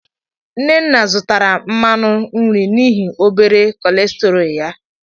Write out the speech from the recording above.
Nnanna zụtara mmanụ nri n'ihi obere cholesterol ya.